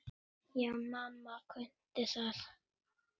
Já, mamma kunni það.